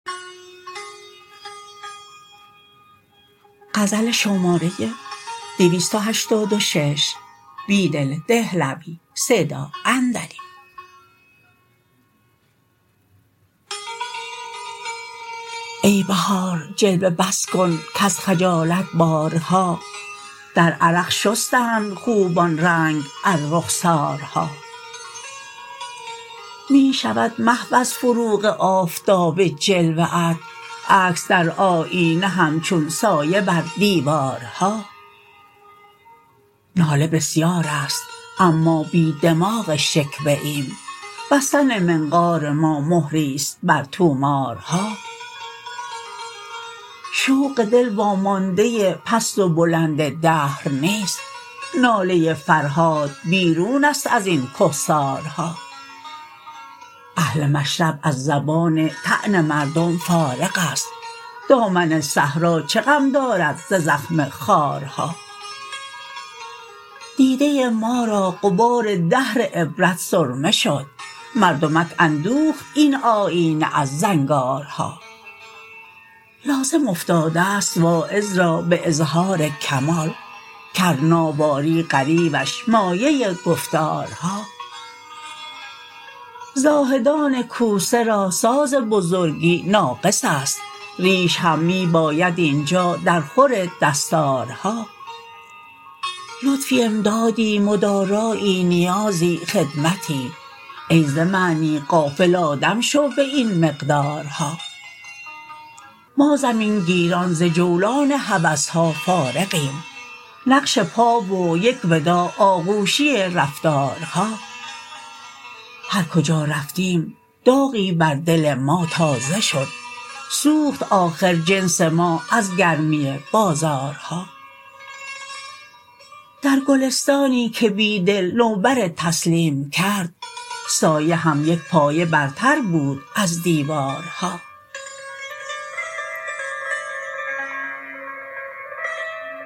ای بهار جلوه بس کن کز خجالت یارها در عرق شستند خوبان رنگ از رخسارها می شود محو از فروغ آفتاب جلوه ات عکس در آبینه همچون سایه بر دیوارها ناله بسیار است اما بی دماغ شکوه ایم بستن منفار ما مهری ست بر طومارها شوق دل ومانده پست و بلند دهر نیست ناله فرهاد بیرون است ازین کهسارها اهل مشرب از زبان طعن مردم فارع است دامن صحرا چه غم دارد ز زخم خارها دیده ما را غبار دهر عبرت سرمه شد مردمک اندوخت این آیینه از زنگارها لازم افتاده ست واعظ را به اظهارکمال کرناواری غریوش مایه گفتارها زاهدان کوسه را ساز بزرگی ناقص است ریش هم می باید اینجا در خور دستارها لطفی امدادی مدارایی نیازی خدمتی ای ز معنی غافل آدم شو به این مقدارها ما زمینگیران ز جولان هوسها فارغیم نقش پا و یک وداع آغوشی رفتارها هرکجا رفتیم داغی بر دل ما تازه شد سوخت آخر جنس ما ازگرمی بازارها درگلستانی که بیدل نوبر تسلیم کرد سایه هم یک پایه برتر بود ز دیوارها